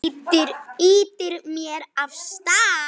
Ýtir mér af stað.